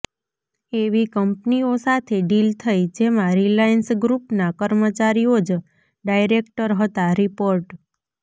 એવી કંપનીઓ સાથે ડીલ થઈ જેમાં રિલાયન્સ ગ્રુપના કર્મચારીઓ જ ડાયરેક્ટર હતાઃ રિપોર્ટ